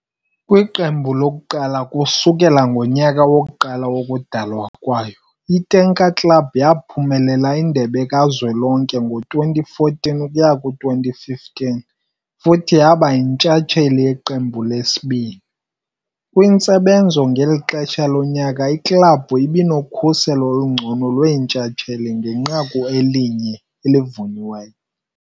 Kwiqembu lokuqala kusukela ngomnyaka wokuqala wokudalwa kwayo, i-tanker club yaphumelela Indebe Kazwelonke ngo-2014-2015 futhi yaba yintshatsheli yeqembu lesibili. Kwintsebenzo ngeli xesha lonyaka, iklabhu ibinokhuselo olungcono lwentshatsheli ngenqaku eli-1 elivunyiweyo.